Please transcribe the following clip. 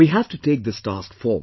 We have to take this task forward